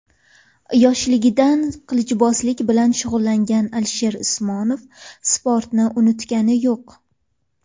Yoshligidan qilichbozlik bilan shug‘ullangan Alisher Usmonov sportni unutgani yo‘q.